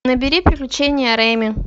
набери приключения рейми